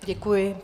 Děkuji.